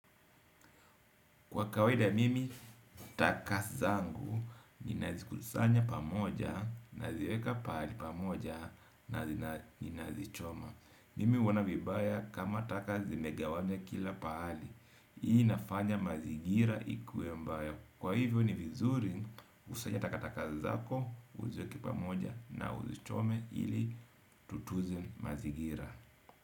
Kwa kawada mimi, taka zangu, ninazikusanya pamoja, naziweka pamoja, naziweka pamoja, na ninazichoma. Mimi huona vibaya kama taka zimegawanywa kila pahali. Hii inafanya mazingira ikuwe mbaya. Kwa hivyo ni vizuri, usanye taka taka zako, uziweke pamoja na uzichome ili tutunze mazigira.